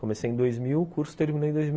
Comecei em dois mil, o curso terminei em dois.